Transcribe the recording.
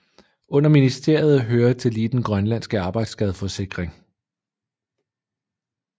Under ministeriet hører tillige den grønlandske arbejdsskadeforsikring